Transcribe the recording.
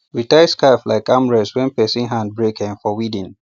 we tie scarf like arm rest when person hand break um for weeding